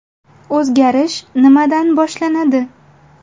O‘zgarish nimadan boshlanadi?